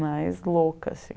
Mais louca, assim.